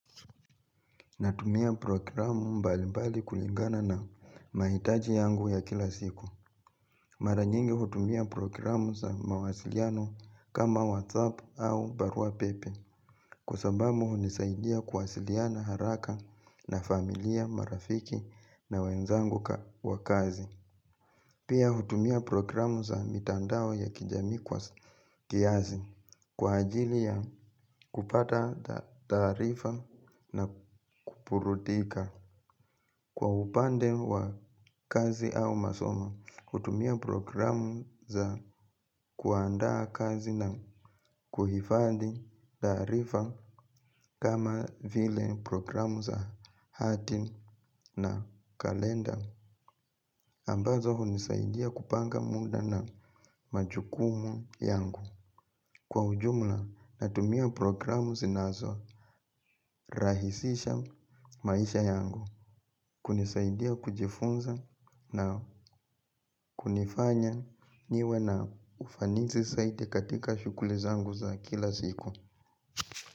Natumia programu mbalimbali kulingana na mahitaji yangu ya kila siku. Mara nyingi hutumia programu za mawasiliano kama WhatsApp au Barua Pepe kwa sababu hunisaidia kuwasiliana haraka na familia marafiki na wenzangu wa kazi. Pia hutumia programu za mitandao ya kijamii kwa kiasi kwa ajili ya kupata taarifa na kuburudika. Kwa upande wa kazi au masomo, kutumia programu za kuandaa kazi na kuhifadhi taarifa kama vile programu za hati na kalenda. Ambazo hunisaidia kupanga muda na majukumu yangu. Kwa ujumla natumia programu zinazorahisisha maisha yangu, kunisaidia kujifunza na kunifanya niwe na ufanisi zaidi katika shughuli zangu za kila siku.